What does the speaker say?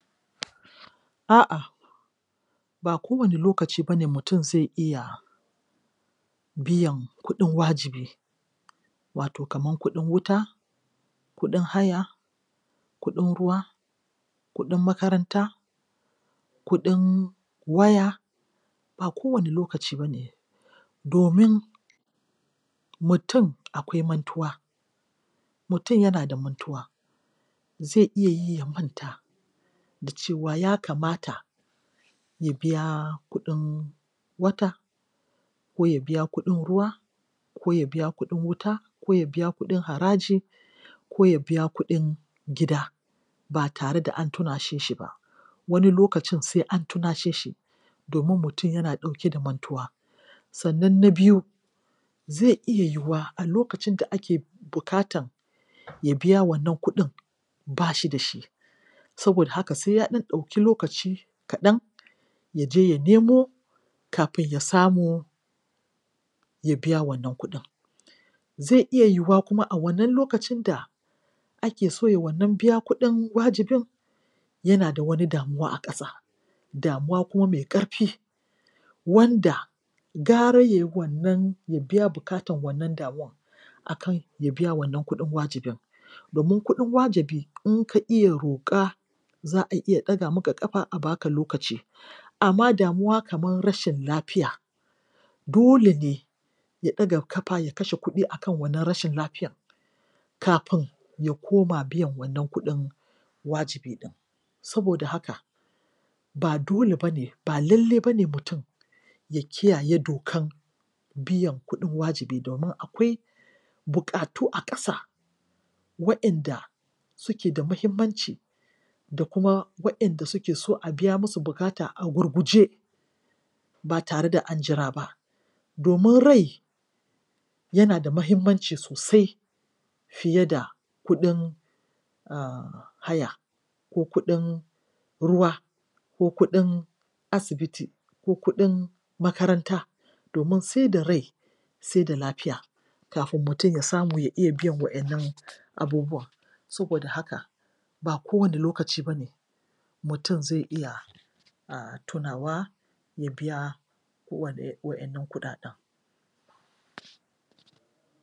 A'a ba kowane lokaci ba ne mutum zai iya biyan kuɗin wajibi, wato kaman kuɗin wuta kuɗin haya, kuɗin ruwa, kuɗin makaranta, kuɗin waya, ba kowane lokaci bane domin mutum akwai mantuwa, mutum yana da mantuwa; zai iya yi manta da cewa ya kamata ya biya kuɗin wata, ko ya biya kuɗin ruwa ko ya biya kuɗin wuta, ko ya biya kuɗin haraji, ko ya biya kuɗin gida ba tare da an tunashe shi ba. Wani lokacin sai an tunashe shi. domin mutum yana ɗauke da mantuwa. Sannan na biyu, zai iya yiwuwa a lokacin da ake bukatan ya biya wannan kuɗin ba shi da shi. Saboda haka sai ya ɗan ɗauki lokaci kaɗan ya je ya nemo kafin ya samu ya biya wannan kuɗin. Zai iya yiwuwa kuma a wannan lokacin da ake so ya wannan biya kuɗin wajibin yana da wani damuwa a ƙasa--damuwa kuma mai ƙarfi. Wanda gara ya yi wannan biya bukatan wannan damuwan a kan ya biya wannan kuɗin wajibin, domin kuɗin wajibi in ka iya roka za a iya ɗaga maka kafa a ba ka lokaci, amma damuwa kaman rashin lafiya, dole ne ya ɗaga kafa ya kashe kuɗi a kan wannan rashin lafiyan kafin ya koma biyan wannan kuɗin wajibi ɗin. Saboda haka, ba dole ba ne, ba lalle ba ne mutum ya kiyaye dokan biyan kuɗin wajibi domin akwai bukatu a ƙasa waɗanda suke da muhimmanci da kuma waɗanda suke so a biya musu bukata a gurguje ba tare da an jira ba, domin rai yana da muhimmanci sosai. fiye da kuɗin haya, ko kuɗin ruwa, ko kuɗin asibiti, ko kuɗin makaranta domin sai da rai, sai da lafiya kafin mutum ya samu ya iya biyan waɗannan abubuwan. Saboda haka, ba kowane lokaci ba ne mutum zai iya um tunawa ya biya kowane waɗannan kuɗaɗen.